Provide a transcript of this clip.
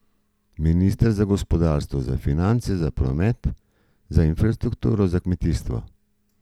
Minister za gospodarstvo, za finance, za promet, za infrastrukturo, za kmetijstvo.